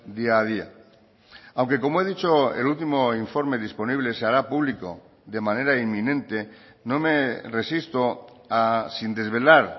día a día aunque como he dicho el último informe disponible se hará público de manera inminente no me resisto a sin desvelar